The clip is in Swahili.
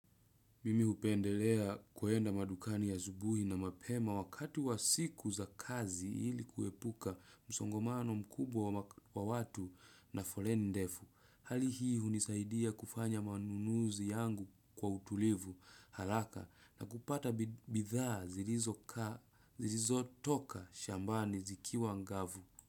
Mimi hupendelea kwenda madukani asubuhi na mapema wakati wa siku za kazi ili kuepuka msongamano mkubwa wa watu na foleni ndefu. Hali hii hunisaidia kufanya manunuzi yangu kwa utulivu, haraka, na kupata bidhaa zilizo kaa zilizo toka shambani zikiwa ngavu.